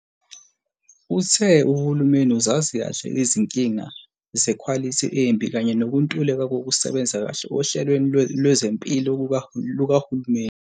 Uthe uhulumeni uzazi kahle izinkinga zekhwalithi embi kanye nokuntuleka kokusebenza kahle ohlelweni lwezempilo lukahulumeni.